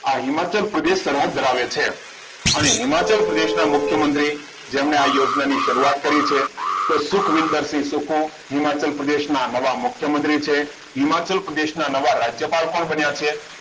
આ હિમાચલ પ્રદેશ સરહદ ધરાવે છે અને હિમાચલ પ્રદેશના મુખ્યમંત્રી જેમને આ યોજનાની શરૂઆત કરી છે તો સુખવિન્દર શિવ સુખો હિમાચલ પ્રદેશના નવા મુખ્યમંત્રી છે હિમાચલ પ્રદેશના નવા રાજ્યપાલ પણ બન્યા છે